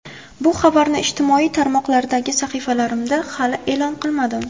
Bu xabarni ijtimoiy tarmoqlardagi sahifalarimda hali e’lon qilmadim.